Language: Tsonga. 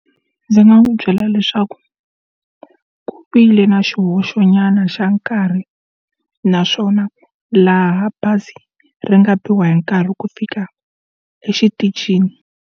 Ndzi nga n'wi byela leswaku ku vile na xihoxo nyana xa nkarhi naswona laha bazi ri nga biwa hi nkarhi ku fika exitichini.